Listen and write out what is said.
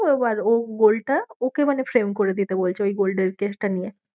ও এবার ও gold টা ওকে মানে flame করে দিতে বলছে ওই gold এর case টা নিয়ে।